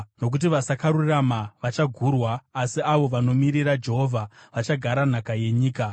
Nokuti vasakarurama vachagurwa, asi avo vanomirira Jehovha vachagara nhaka yenyika.